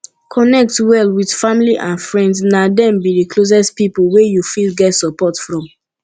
connect well with family and friends na dem be d closest pipo wey you fit get support from